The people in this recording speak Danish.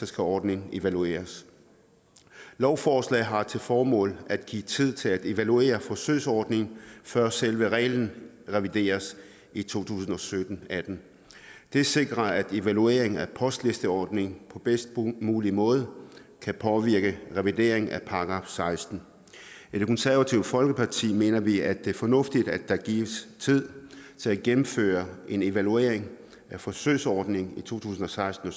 skal ordningen evalueres lovforslaget har til formål at give tid til at evaluere forsøgsordningen før selve reglen revideres i to tusind og sytten atten det sikrer at evalueringen af postlisteordningen på bedst mulig måde kan påvirke revidering af § sekstende i det konservative folkeparti mener vi at det er fornuftigt at der gives tid til at gennemføre en evaluering af forsøgsordningen i to tusind og seksten